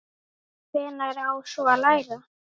Hvenær á svo að læra?